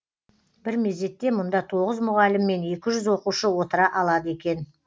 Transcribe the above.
бір мезетте мұнда тоғыз мұғалім мен екі жүз оқушы отыра алады екен